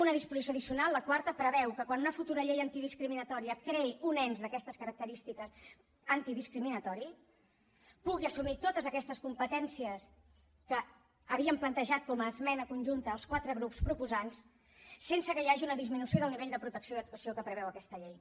una disposició addicional la quart preveu que quan una futura llei antidiscriminatòria creï un ens d’aquestes característiques antidiscriminatori pugui assumir totes aquestes competències que havíem plantejat com a esmena conjunta els quatre grups proposants sense que hi hagi una disminució del nivell de protecció i actuació que preveu aquesta llei